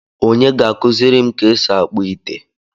Onye ga-akuziri m ka esi akpu ite?